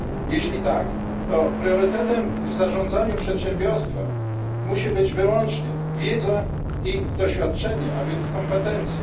Jeśli tak, to priorytetem w zarządzaniu przedsiębiorstwem musi być wyłącznie wiedza i doświadczenie, a więc kompetencje.